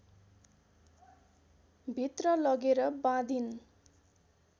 भित्र लगेर बाँधिन्